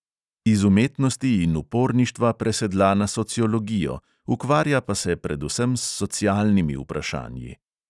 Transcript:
Iz umetnosti in uporništva presedla na sociologijo, ukvarja pa se predvsem s socialnimi vprašanji.